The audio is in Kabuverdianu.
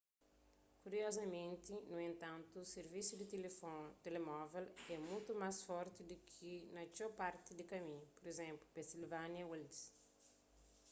kuriozamenti nu entantu sirvisu di telemóvel é mutu más forti li di ki na txeu parti di kaminhu pur izénplu pennsylvania wilds